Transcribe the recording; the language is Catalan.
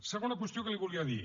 segona qüestió que li volia dir